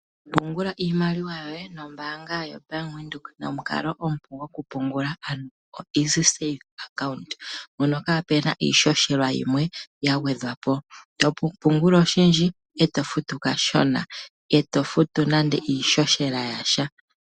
Pungula iimaliwa yoye nombaanga yaBank Windhoek nomukalo omupu gokupungula ano EasySave Account, mpono kaapena iishoshela yagwedhwapo, pungula oshindji etofutu kashona, itoofutu nande iishoshela yasha.